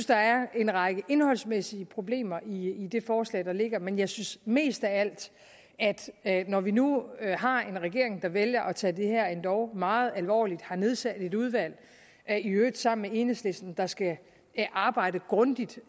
der er en række indholdsmæssige problemer i det forslag der ligger men jeg synes mest af alt at når vi nu har en regering der vælger at tage det her endog meget alvorligt og har nedsat et udvalg i øvrigt sammen med enhedslisten der skal arbejde grundigt